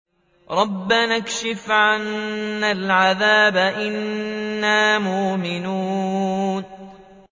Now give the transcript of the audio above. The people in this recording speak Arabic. رَّبَّنَا اكْشِفْ عَنَّا الْعَذَابَ إِنَّا مُؤْمِنُونَ